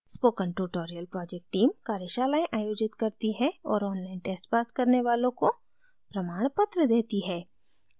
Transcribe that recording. spoken tutorial project team कार्यशालाएं आयोजित करती है और online tests pass करने वालों को प्रमाणपत्र देती है